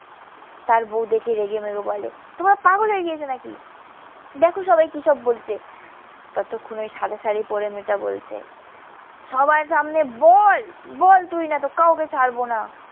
তার বউ দেখে রেগেমেগে বলে, তোমরা পাগল হয়ে গিয়েছো নাকি? দেখো সবাই কিসব বলছে? ততক্ষণে ওই সাদা শাড়ি পড়ে মেয়েটা বলছে, সবার সামনে বল, বল তুই। নয়তো কাউকে ছাড়বো না।